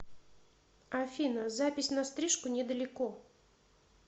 афина запись на стрижку недалеко